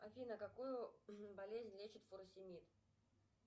афина какую болезнь лечит фуросемид